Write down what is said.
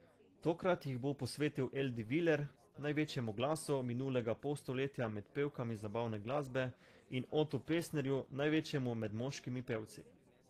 Tokrat jih bo posvetil Eldi Viler, največjemu glasu minulega polstoletja med pevkami zabavne glasbe, in Otu Pestnerju, največjemu med moškimi pevci.